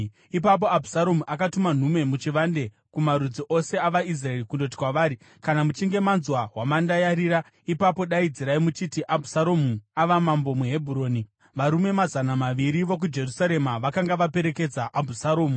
Ipapo Abhusaromu akatuma nhume muchivande kumarudzi ose avaIsraeri kundoti kwavari, “Kana muchinge manzwa hwamanda yarira, ipapo daidzirai muchiti, ‘Abhusaromu ava mambo muHebhuroni.’ ” Varume mazana maviri vokuJerusarema vakanga vaperekedza Abhusaromu.